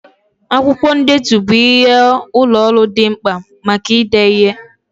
Akwụkwọ ndetu bụ ihe ụlọ ọrụ dị mkpa maka ide ihe.